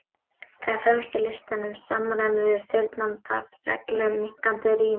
Það er fremst í listanum, í samræmi við fyrrnefnda reglu um minnkandi rím.